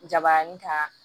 Jabaranin kan